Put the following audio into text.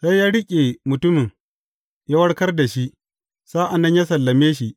Sai ya riƙe mutumin, ya warkar da shi, sa’an nan ya sallame shi.